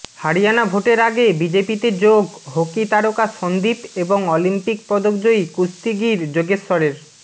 হরিয়ানা ভোটের আগে বিজেপিতে যোগ হকি তারকা সন্দীপ এবং অলিম্পিক পদকজয়ী কুস্তিগীর যোগেশ্বরের